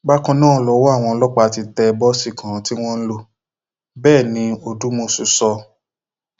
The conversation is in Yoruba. bákan náà lọwọ àwọn ọlọpàá ti tẹ bọọsì kan tí wọn ń lò bẹẹ ní odúmọsù sọ